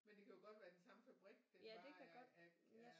Men det kan jo godt være den samme fabrik den er bare